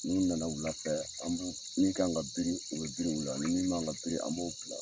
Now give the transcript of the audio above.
N'u na na wula fɛ an b'u min kan ka biri u bi biri wuli ni min man kan ka biri an b'o bila.